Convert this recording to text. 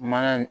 Mana